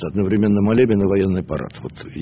одновременно молебен и военный парад